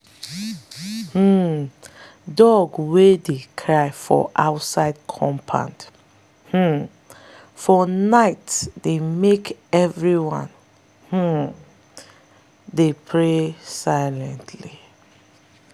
um dog wey dey cry for outside compound um for night dey make everyone um dey pray silently.